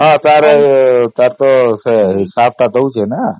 ହଁ ସେତାର ହିସାବ ଟା ଦେଉଛି ନା